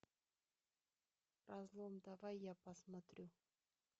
разлом давай я посмотрю